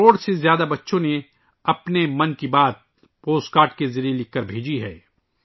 ایک کروڑ سے زیادہ بچوں نے اپنے 'من کی بات ' پوسٹ کارڈ کے ذریعے لکھ کر بھیجی ہے